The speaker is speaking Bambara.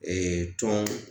tɔn